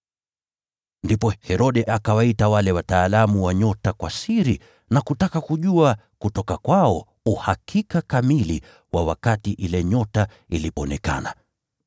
Ndipo Herode akawaita wale wataalamu wa nyota kwa siri na kutaka kujua kutoka kwao uhakika kamili wa wakati ile nyota ilionekana.